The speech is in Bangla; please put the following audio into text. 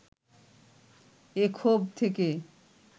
এ ক্ষোভ থেকে